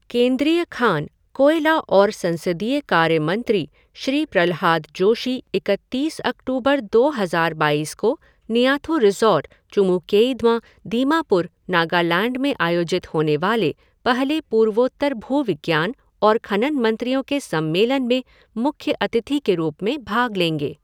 केंद्रीय खान, कोयला और संसदीय कार्य मंत्री श्री प्रल्हाद जोशी इकतीस अक्टूबर दो हज़ार बाईस को निआथू रिज़ॉर्ट, चुमुकेइद्मा, दीमापुर, नगालैंड में आयोजित होने वाले पहले पूर्वोत्तर भूविज्ञान और खनन मंत्रियों के सम्मेलन में मुख्य अतिथि के रूप में भाग लेंगे।